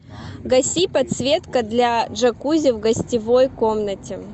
гаси подсветка для джакузи в гостевой комнате